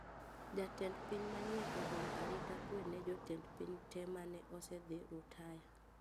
Jatend piny manyien ogolo arita kwe ne jotend piny tee mane osedhi rutaya